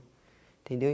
Entendeu?